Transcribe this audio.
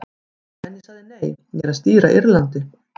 En ég sagði nei, ég er að stýra Írlandi.